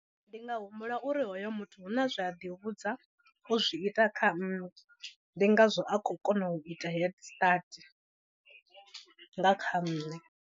Ndi nga humbula uri hoyo muthu huna zwe a ḓi vhudza u zwi ita kha nne ndi ngazwo a khou kona u ita head start nga kha nṋe.